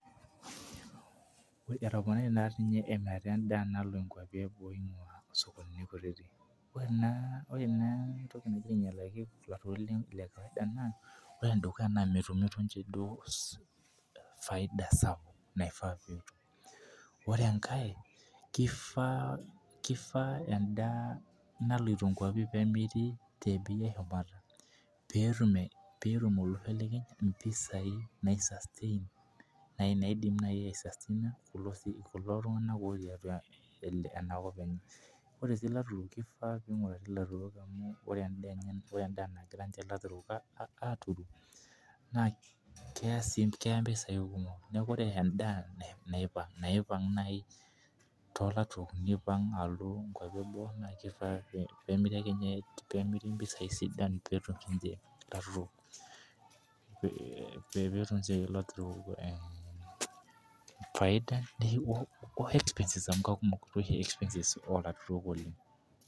Etoponari naa emirata edaa nalo nkuapi eboo eingua osokonini kutiti, ore naa entoki nagira aingialaki naa , ore enedukuya, naa metumumito duo faida sapuk naifaa netum, ore enkae kifaa edaa nailoto nkuapi pee etum, olorere mpisai naidim naaji ai sustain kulo tunganak otii ene kop enye. Ore sii ilaturk kifaa pee ingurari ilaturol amu, ore edaa nagira aturu naa keya mpisai kumok. Neeku ore edaa naipang too laturok alotu boo naa kifaa pee emiri mpisai sidan, pee etum ilaturo faida.